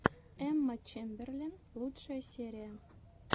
эмма чемберлен лучшая серия